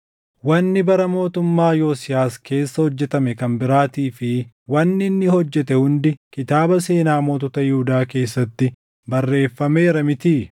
Wanni bara mootummaa Yosiyaas keessa hojjetame kan biraatii fi wanni inni hojjete hundi kitaaba seenaa mootota Yihuudaa keessatti barreeffameera mitii?